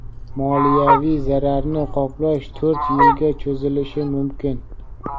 moliyaviy zararni qoplash to‘rt yilga cho‘zilishi mumkin.